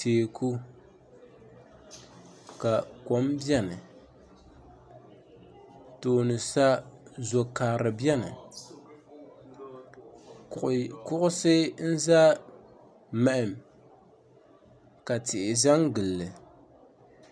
Teeku ka kom biɛni tooni sa zo karili biɛni kuɣusi n za mahim ka tihi za n gilili.